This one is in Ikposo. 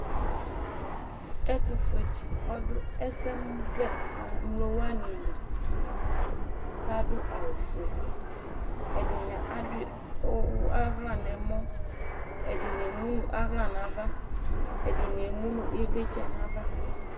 Ɛtufue tsi ɔdʋ ɛsɛmʋbɛ nemlo wani liLadʋ awu fue Ɛdini adui ʋʋ aɣla nɛmɔƐdini ɛmu nʋ aɣla navaƐdini emunu ivlitsɛ nava